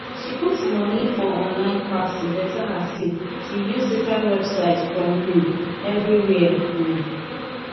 she put money for online class to better her skill she use different website from um everywhere um